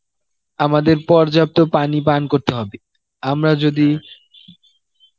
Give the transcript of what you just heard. আমাদের পর্যাপ্ত পানি পান করতে হবে আমরা যদি